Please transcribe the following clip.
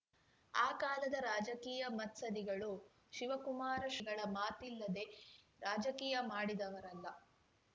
ಆ ಕಾಲದ ರಾಜಕೀಯ ಮತ್ಸದ್ಧಿಗಳು ಶಿವಕುಮಾರ ಶ್ರೀಗಳ ಮಾತಿಲ್ಲದೆ ರಾಜಕೀಯ ಮಾಡಿದವರಲ್ಲ